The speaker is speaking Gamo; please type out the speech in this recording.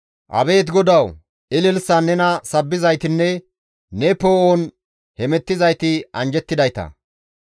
Abeet GODAWU! Ililisan nena sabbizaytinne ne poo7on hemettizayti anjjettidayta.